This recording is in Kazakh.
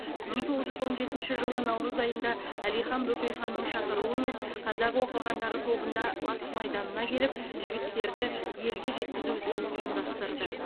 мың тоғыз жүз он жетінші жылы наурыз айында әлихан бөкейханның шақыруымен қазақ оқығандары тобында батыс майданына келіп жігіттерді елге жеткізу ісін ұйымдастырды